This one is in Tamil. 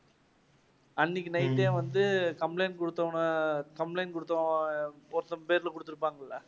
அன்னிக்கு night டே வந்து complaint குடுத்தவங்க complaint குடுத்து~ ஒருத்தன் பேர்ல குடுத்துருப்பங்கல்ல?